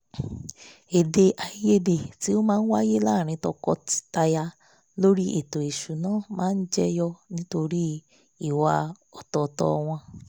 ète àìyedẹ̀ tí ó máa wáyé láàrin tọkọtaya lórí ètò ìṣúná máa jẹ́ yọ nítorí ìwà ọ̀tọ̀ọ̀tọ̀ wọn